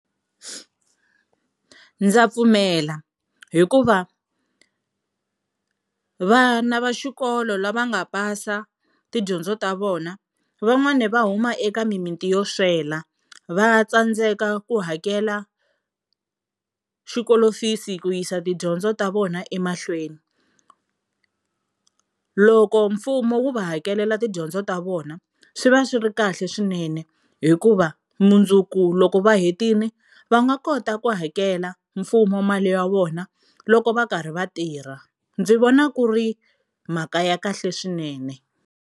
Ndza pfumela hikuva vana va xikolo lava nga pasa tidyondzo ta vona van'wani va huma eka mimiti yo swela, va tsandzeka ku hakela xikolo fees ku yisa tidyondzo ta vona emahlweni. Loko mfumo wu va hakelela tidyondzo ta vona swi va swi ri kahle swinene hi ku va mundzuku loko va hetile va nga kota ku hakela mfumo mali ya vona loko va karhi va tirha ndzi vona ku ri mhaka ya kahle swinene.